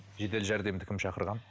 жедел жәрдемді кім шақырған